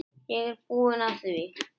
Ég er búinn að því!